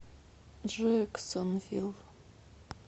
джэксонвилл